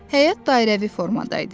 Həyət dairəvi formada idi.